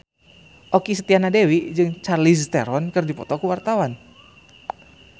Okky Setiana Dewi jeung Charlize Theron keur dipoto ku wartawan